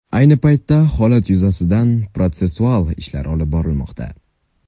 Ayni paytda holat yuzasidan protsessual ishlar olib borilmoqda.